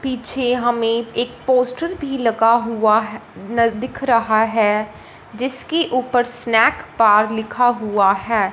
पीछे हमें एक पोस्टर भी लगा हुआ न दिख रहा है इसके ऊपर स्नैक बार लिखा हुआ है।